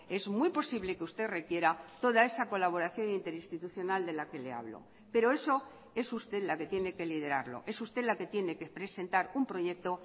es muy posible que usted requiera toda esa colaboración interinstitucional de la que le hablo pero eso es usted la que tiene que liderarlo es usted la que tiene que presentar un proyecto